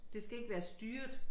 Det skal ikke være styret